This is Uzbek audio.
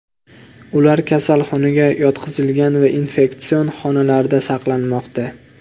Ular kasalxonaga yotqizilgan va infeksion xonalarda saqlanmoqda.